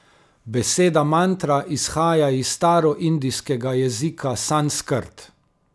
Beseda mantra izhaja iz staroindijskega jezika sanskrt.